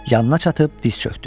Yanına çatıb diz çökdü.